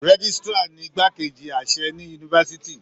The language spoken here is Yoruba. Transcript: Rẹ̀jisitira ní ìgbà keji àṣẹ ní yunifásítì.